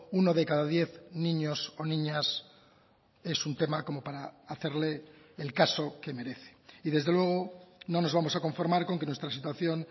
uno de cada diez niños o niñas es un tema como para hacerle el caso que merece y desde luego no nos vamos a conformar con que nuestra situación